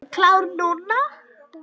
Klár núna.